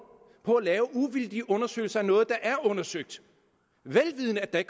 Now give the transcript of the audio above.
på at lave uvildige undersøgelser af noget der er undersøgt vel vidende at